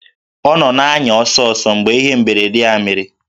Ọ nọ na-anya ọsọ ọsọ mgbe ihe mberede a mere